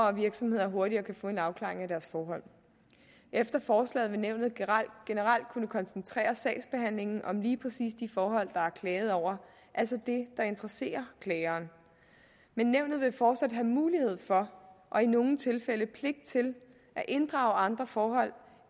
og virksomheder hurtigere kan få en afklaring af deres forhold efter forslaget vil nævnet generelt kunne koncentrere sagsbehandlingen om lige præcis de forhold der er klaget over altså det der interesserer klageren men nævnet vil fortsat have mulighed for og i nogle tilfælde pligt til at inddrage andre forhold